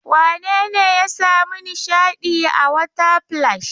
Wane ne ya sami nishaɗi a water splash?